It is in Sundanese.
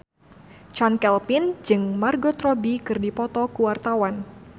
Chand Kelvin jeung Margot Robbie keur dipoto ku wartawan